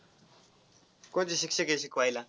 कोणते शिक्षक आहे शिकवायला?